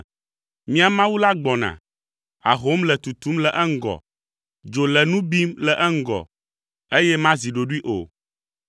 Míaƒe Mawu la gbɔna, ahom le tutum le eŋgɔ, dzo le nu bim le eŋgɔ, eye mazi ɖoɖoe o.